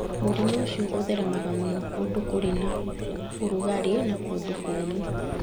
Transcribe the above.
Mũrimũ ũcio ũtheremaga mũno kũndũ kũrĩ na ũrugarĩ na kũndũ kũũmũ.